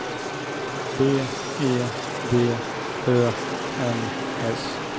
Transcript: B E D Ö M S